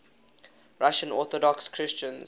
russian orthodox christians